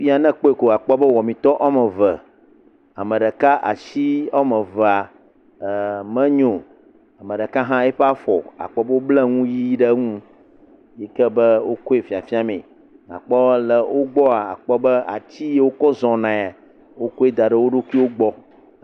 Ne ekpɔe kɔ akpɔ be wɔmitɔ wɔme eve ame ɖeka asi wɔme evea e menyo. Ame ɖeka hã eƒe afɔ akpɔ be wobble enu ʋi ɖe eŋu yi ke be wokoe fiafia mee